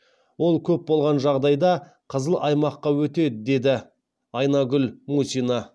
ол көп болған жағдайда қызыл аймаққа өтеді деді айнагүл мусина